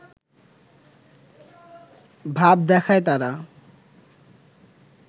ভাব দেখায় তারা